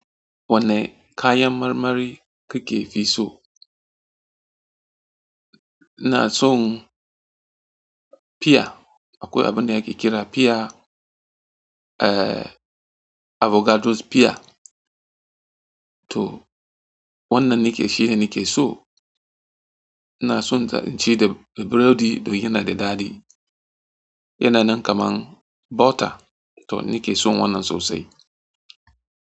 Wanne kayan marmari kike fi so? Ina son piya, akwai abin da ake kira piya, avocados piya, to wannan nake shine nake so. Ina son na ci da burodi, domin yana da daɗi. Yana nan kaman butter, to nake so wannan sosai.